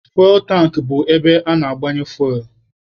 Fuwel tankị bụ ebe ana-agbanye fuwel.